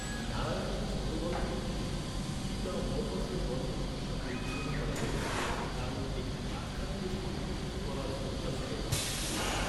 নারায়ণের ছোটগল্পগুলিকে Guy de মোপাসঁর গল্পগুলির সাথে তুলনা করা হয়েছে। কারণ একটি আখ্যানকে সংকুচিত করার ক্ষমতা ছিল তাঁর।